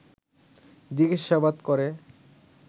জিজ্ঞাসাবাদ করে